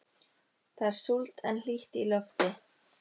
Það er súld en hlýtt í lofti.